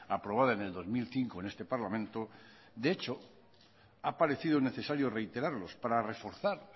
aprobada en el dos mil cinco en este parlamento de hecho ha parecido necesario reiterarlos para reforzar